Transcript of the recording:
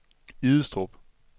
Idestrup